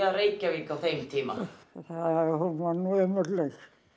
Reykjavík á þeim tíma hún var nú ömurleg